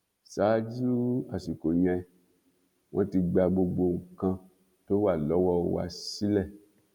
ṣáájú àsìkò yẹn wọn ti gba gbogbo nǹkan tó wà lọwọ wa sílẹ